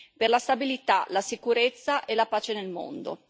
per la stabilità, la sicurezza e la pace nel mondo.